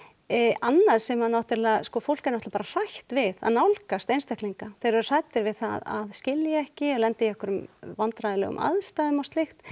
annað sem að náttúrulega sko fólk er náttúrulega hrætt við að nálgast einstaklinga þeir eru hræddir við það að skilja ekki eða lenda í einhverjum vandræðalegum aðstæðum og slíkt